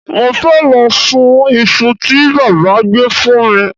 Mo fẹ́ lọ sun iṣu tí bàbá gbé fún mi